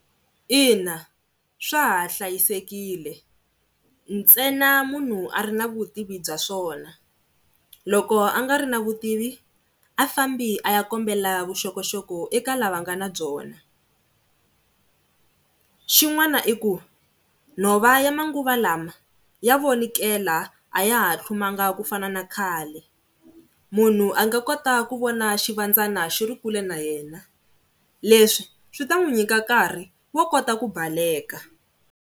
Ina, swa ha hlayisekile ntsena munhu a ri na vutivi bya swona, loko a nga ri na vutivi a fambi a ya kombela vuxokoxoko eka lava nga na byona. Xin'wana i ku nhova ya manguva lawa ya vonikela, a ya ha tlhumanga ku fana na khale, munhu a nga kota ku vona swivandzana xi ri kule na yena leswi swi ta n'wi nyika nkarhi wo kota ku baleka.